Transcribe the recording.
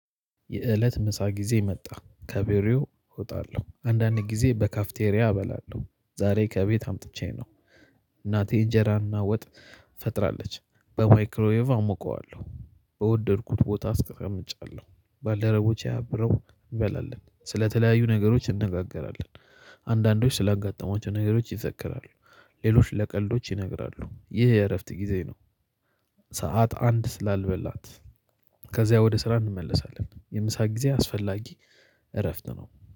የእለት ምሳ ጊዜ መጣ ከቢሮው እወጣለሁ አንዳንዴ ጊዜ በካፍቴሪያ እበላለሁ ዛሬ ከቤት አምጥቼ ነው። እናቴ እንጀራና ወጥ ፈጥራለች በማይክሮዌቭ አሞቀዋለሁ። በወደድኩት ቦታ አስቀምጫለሁ ባልደረቦቼ አብረው እንበላለን ስለተለያዩ ነገሮች እነጋገራለን። አንዳንዶች ስላጋጠማቸው ነገሮች ይዘክራሉ። ሌሎች ለቀልዶች ይነግራሉ ይህ የእረፍት ጊዜ ነው። ሰዓት አንድ ስላልበላት ከዚያ ወደ ስራ እንመለሳለን። የምሳ ጊዜ አስፈላጊ እረፍት ነው።